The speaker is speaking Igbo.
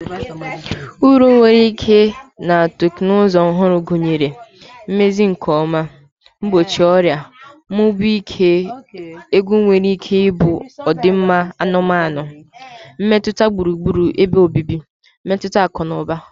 Uru nwere ike na teknụzụ ọhụrụ gụnyere, Mmezi nke ọma, Mgbochi ọrịa, Mmụba ihe egwu nwere ike bụ ọdịmma anụmanụ, mmetụta gburugburu ebe obibi, mmetụta akụ na ụba.